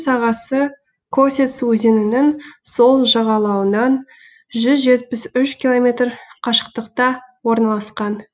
сағасы косец өзенінің сол жағалауынан жүз жетпіс үш километр қашықтықта орналасқан